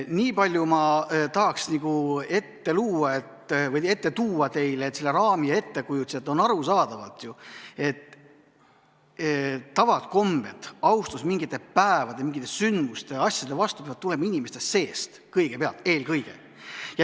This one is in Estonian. Niipalju tahaks ette tuua teile seda raami ja ettekujutust, et on arusaadav ju, et tavad ja kombed, austus mingite päevade, mingite sündmuste vastu peavad tulema inimeste seest kõigepealt, eelkõige.